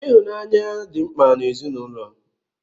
Ịhụnanya dị mkpa n'ezinụlọ.